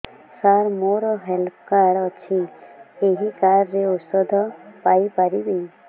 ସାର ମୋର health card ଅଛି ଏହି କାର୍ଡ ରେ ଔଷଧ ପାଇପାରିବି